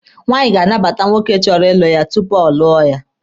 Nwaanyị ga-anabata nwoke chọrọ ịlụ ya tupu ọ lụọ ya.